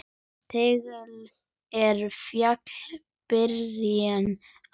Tagl er fjalli byrjun á.